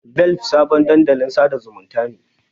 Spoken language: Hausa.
Velp sabon dandalin sada zumunta ne.